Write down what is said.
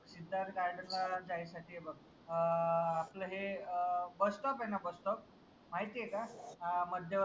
Siddharth garden ला जायसाठी हे बघ अं आपल हे अं बस stop आहे न बस stop माहितीय का? अं मध्यवर्ती